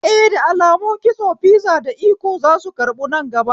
Eh, da alamun kitso fizi da iko zasu karbu nan gaba